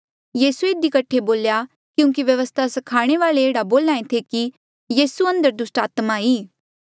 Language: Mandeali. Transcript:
यीसूए इधी कठे बोल्या क्यूंकि व्यवस्था स्खाणे वाल्ऐ ऐहड़ा बोल्हा ऐें थे कि यीसू अंदर दुस्टात्मा ई